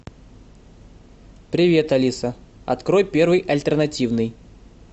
привет алиса открой первый альтернативный